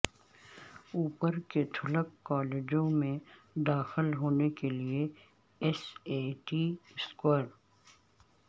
اوپر کیتھولک کالجوں میں داخل ہونے کے لئے ایس اے ٹی اسکور